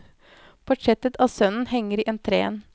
Portrettet av sønnen henger i entréen.